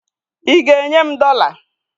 ị ga-enye m dollar?